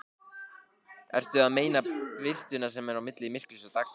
Ertu að meina birtuna sem er á milli myrkurs og dagsljóss?